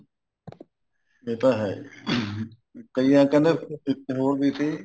ਇਹ ਤਾਂ ਹੈ ਜੀ ਕਈ ਐ ਕਹਿੰਦੇ ਇੱਕ ਹੋਰ ਵੀ ਸੀ